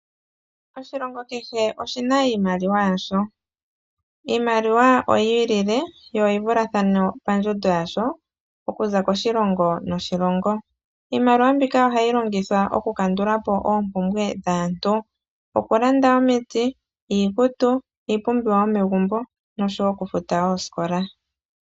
Oshilongo kehe oshina iimaliwa yasho. Iimaliwa oyi ilile yo oyi vulathane pandjundo yasho okuza koshilongo noshilongo. Iimaliwa mbika ohayi longithwa okukandulapo oompumbwe dhaantu ngaashi okulanda omiti, iikutu, iipumbiwa yomegumbo noshowo okufuta oosikola .